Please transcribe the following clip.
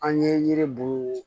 An ye yiribu